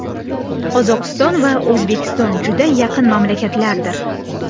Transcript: Qozog‘iston va O‘zbekiston juda yaqin mamlakatlardir.